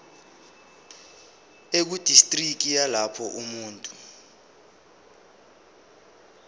ekudistriki yalapho umuntu